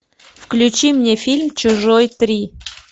включи мне фильм чужой три